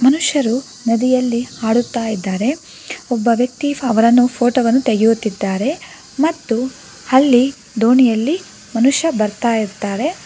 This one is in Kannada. ಮನುಷ್ಯರು ನದಿಯಲ್ಲಿ ಆಡುತ್ತಾ ಇದ್ದಾರೆ ಒಬ್ಬ ವ್ಯಕ್ತಿ ಅವರನ್ನು ಫೋಟೋ ವನ್ನು ತೆಗೆಯುತ್ತಿದ್ದಾರೆ ಮತ್ತು ಅಲ್ಲಿ ದೋಣಿಯಲ್ಲಿ ಮನುಷ್ಯ ಬರ್ತಾ ಇರ್ತಾರೆ.